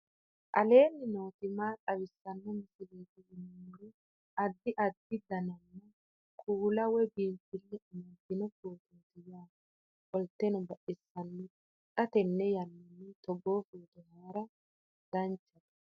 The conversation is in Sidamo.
aleenni nooti maa xawisanno misileeti yinummoro addi addi dananna kuula woy biinsille amaddino footooti yaate qoltenno baxissannote xa tenne yannanni togoo footo haara danvchate